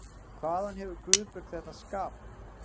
Hvaðan hefur Guðbjörg þetta skap?